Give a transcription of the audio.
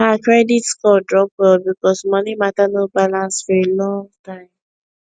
her credit score drop well because money matter no balance for a long time